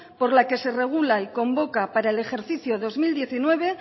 por la que se regula y convoca para el ejercicio dos mil diecinueve